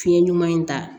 Fiɲɛ ɲuman in ta